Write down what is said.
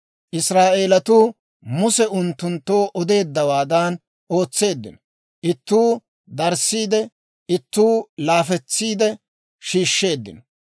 Israa'eelatuu Muse unttunttoo odeeddawaadan ootseeddino; ittuu darissiide, ittuu laafetsiidde shiishsheeddino.